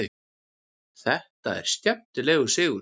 Þetta var skemmtilegur sigur.